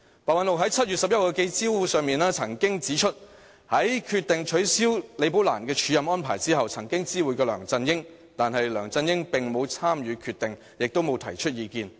白韞六在7月11日的記者招待會上指出，在決定取消李寶蘭的署任安排後，曾知會梁振英，但梁振英並無參與決定，也沒有提出意見。